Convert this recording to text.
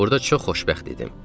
Burada çox xoşbəxt idim.